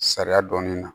Sariya dɔɔnin na